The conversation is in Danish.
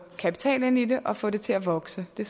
kapital ind i det og få det til at vokse det